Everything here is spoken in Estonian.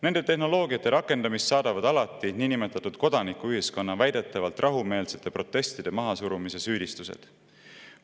Nende tehnoloogiate rakendamist saadavad alati niinimetatud kodanikuühiskonna väidetavalt rahumeelsete protestide mahasurumise süüdistused.